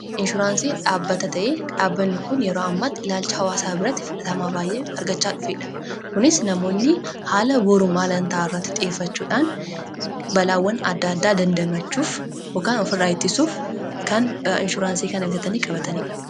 Inshuraansii dhabbata ta'ee dhaabbanni kun yeroo ammaatti ilaalcha hawaasaa biratti fudhatamaa baay'ee argachaa dhufeedha kunis namoonni haala boru maalan ta'a irratti xiyyefachuudhaan balaawwan adda addaa dandamachuuf yookaan ofirraa ittisuuf kan inshuraansii kana bitatanii qabataniidha.